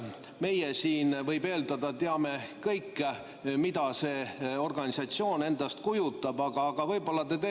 Meie siin, võib eeldada, teame kõik, mida see organisatsioon endast kujutab, [aga teised ei pruugi teada.